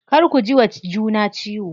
Kar ku jiwa juna ciwo.